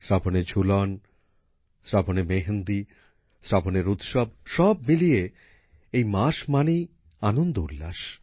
শ্রাবণের ঝুলন শ্রাবণের মেহেন্দী শ্রাবণের উৎসব সব মিলিয়ে এই মাস মানেই আনন্দ উল্লাস